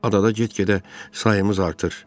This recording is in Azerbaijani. Adada get-gedə sayımız artır.